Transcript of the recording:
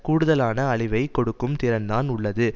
கூடுதலான அழிவை கொடுக்கும் திறன்தான் உள்ளது